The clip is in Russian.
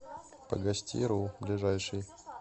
погостиру ближайший